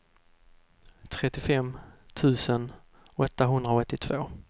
trettiofem tusen åttahundraåttiotvå